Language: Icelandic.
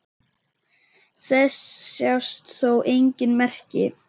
Þess sjást þó engin merki.